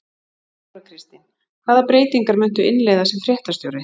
Þóra Kristín: Hvaða breytingar muntu innleiða sem fréttastjóri?